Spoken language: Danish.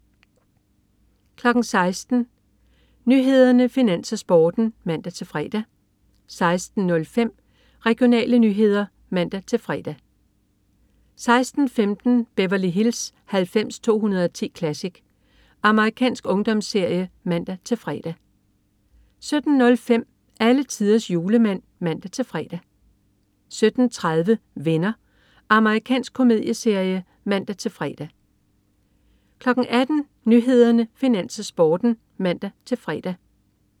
16.00 Nyhederne, Finans, Sporten (man-fre) 16.05 Regionale nyheder (man-fre) 16.15 Beverly Hills 90210 Classic. Amerikansk ungdomsserie (man-fre) 17.05 Alletiders Julemand (man-fre) 17.30 Venner. Amerikansk komedieserie (man-fre) 18.00 Nyhederne, Finans, Sporten (man-fre)